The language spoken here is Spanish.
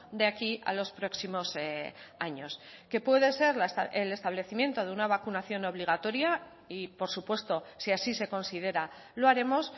de aquí a los próximos años que puede ser el establecimiento de una vacunación obligatoria y por supuesto si así se considera lo haremos